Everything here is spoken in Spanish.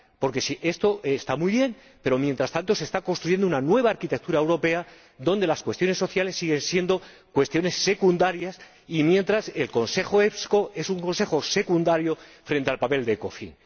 Porque esto está muy bien, pero, mientras tanto, se está construyendo una nueva arquitectura europea en la que las cuestiones sociales siguen siendo cuestiones secundarias y el Consejo EPSCO es un Consejo secundario frente al Ecofin.